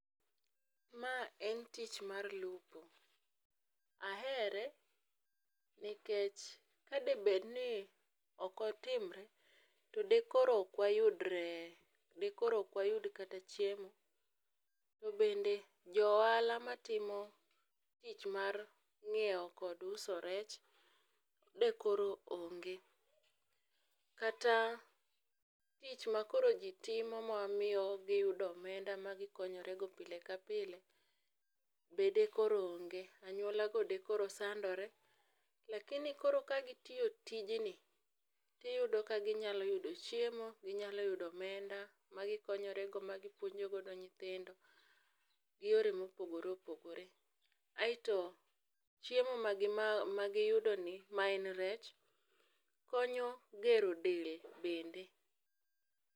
Ma en tich mar lupo, ahere nikech kade bedni ok otimre, to dekoro ok wayud rech, dekoro ok wayud kata chiemo to bende jo ohala matimo tich mar ngiewo kata uso rech dekoro onge. Kata tich makoro jii timo mamiyo giyudo omenda ma gikonyore go pile ka pile be de koro onge, anyuola go dekoro sandore, Lakini koro gitiyo tijni ginyalo yudo chiemo, ginyalo yudo omenda magikonyore go magipuonjogo nyithindo gi yore ma opogore opogore ,aito chiemo magiyudoni maen rech konyo gero del bende